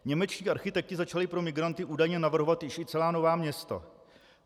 Němečtí architekti začali pro migranty údajně navrhovat již i celá nová města.